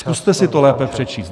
Zkuste si to lépe přečíst.